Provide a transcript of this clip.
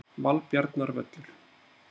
Valbjarnarvöllum